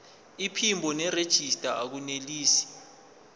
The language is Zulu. iphimbo nerejista akunelisi